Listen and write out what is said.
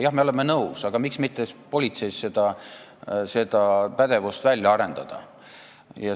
Jah, me oleme nõus, aga miks mitte politseis seda pädevust välja arendada?